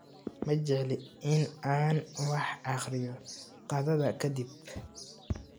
Ma jecli in aan wax akhriyo qadada ka dib